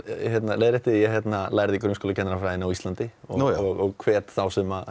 leiðrétti ég lærði á Íslandi og hvet þá sem